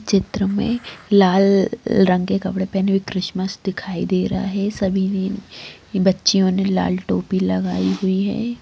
चित्र में लाल रंग के कपड़े पहने क्रिसमस दिखाई दे रहा है सभी ने बच्चियों ने लाल टोपी लगायी हुई है।